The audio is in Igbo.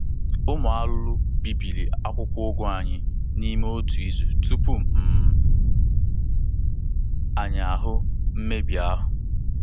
Ụmụ arụrụ bibiri akwụkwọ ugu anyị n'ime otu izu tupu um anyị ahụ mmebi ahụ.